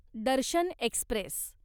Darshan Express